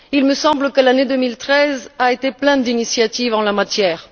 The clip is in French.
Il me semble que l'année 2013 a été pleine d'initiatives en la matière.